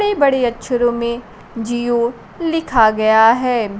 बड़े बड़े अक्षरों में जिओ लिखा गया है।